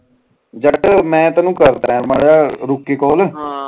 ਜਰਾ ਕ ਮੈਂ ਤੈਨੂੰ ਕਰਦਾ ਮਾਰਾ ਜਾ ਰੁਕ ਕ ਕਾਲ